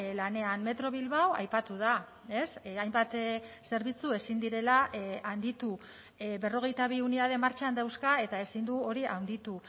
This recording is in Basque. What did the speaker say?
lanean metro bilbao aipatu da hainbat zerbitzu ezin direla handitu berrogeita bi unitate martxan dauzka eta ezin du hori handitu